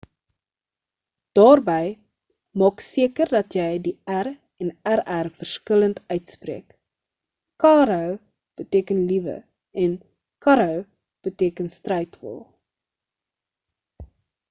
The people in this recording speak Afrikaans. daarby maak seker dat jy die r en rr verskillend uitspreek caro beteken liewe en carro beteken strydwa